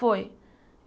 Foi.